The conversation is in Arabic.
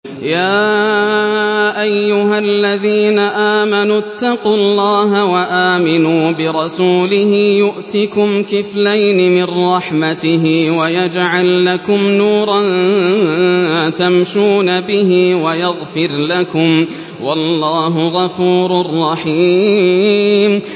يَا أَيُّهَا الَّذِينَ آمَنُوا اتَّقُوا اللَّهَ وَآمِنُوا بِرَسُولِهِ يُؤْتِكُمْ كِفْلَيْنِ مِن رَّحْمَتِهِ وَيَجْعَل لَّكُمْ نُورًا تَمْشُونَ بِهِ وَيَغْفِرْ لَكُمْ ۚ وَاللَّهُ غَفُورٌ رَّحِيمٌ